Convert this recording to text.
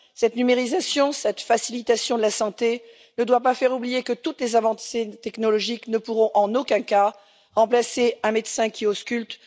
Cette numérisation, cette facilitation de la santé ne doit pas faire oublier que toutes les avancées technologiques ne pourront en aucun cas remplacer un médecin qui ausculte.